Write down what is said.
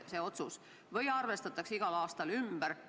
Kas see summa arvestatakse igal aastal ümber?